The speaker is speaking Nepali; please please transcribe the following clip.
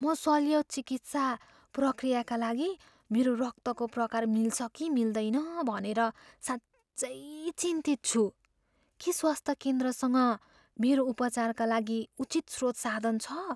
म शल्य चिकित्सा प्रक्रियाका लागि मेरो रक्तको प्रकार मिल्छ कि मिल्दैन भनेर साँच्चै चिन्तित छु। के स्वास्थ्य केन्द्रसँग मेरो उपचारका लागि उचित स्रोत साधन छ?